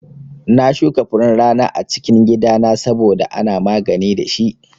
Na shuka furen rana a cikin gida na saboda ana magani dashi